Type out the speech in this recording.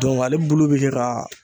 ale bulu bɛ kɛ ka